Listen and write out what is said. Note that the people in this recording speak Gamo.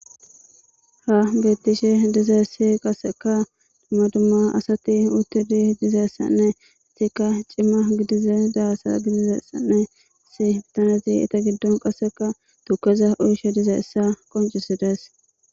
ha bettishe dizaysi qasseka dumma dumma asati uttidi dizayssanne sikka cimma gidize daasa gidizessanne si tanezi ita giddon qasseka tukeza uyishe dizeessa qoncisides